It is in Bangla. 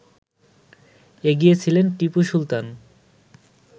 এগিয়ে ছিলেন টিপু সুলতান